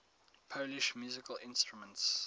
polish musical instruments